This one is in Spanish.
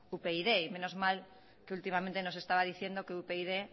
upyd y menos mal que últimamente nos estaba diciendo que upyd